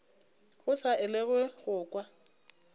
go sa elwego go kwa